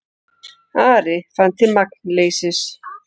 Ari fann til magnleysis.